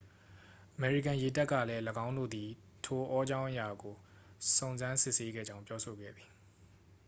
အမေရိကန်ရေတပ်ကလည်း၎င်းတို့သည် ထိုအောကြာင်းအရာကို စုံစမ်းစစ်ဆေးခဲ့ကြောင်း ပြောဆိုခဲ့သည်